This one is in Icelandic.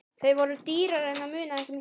Þau voru dýrari en það munaði ekki miklu.